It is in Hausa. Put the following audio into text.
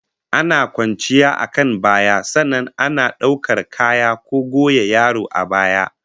Ana kwanciyar akan baya, sannan ana daukar kaya ko goya yaro a baya